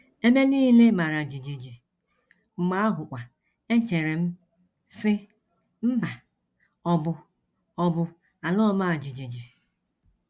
Ebe nile mara jijiji, mgbe ahụkwa echere m, sị: ‘ Mba, ọ bụ, ọ bụ ala ọma jijiji. ’